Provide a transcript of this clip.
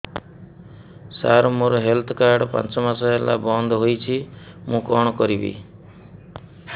ସାର ମୋର health card ପାଞ୍ଚ ମାସ ହେଲା ବଂଦ ହୋଇଛି ମୁଁ କଣ କରିବି